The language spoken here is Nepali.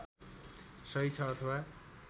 सही छ अथवा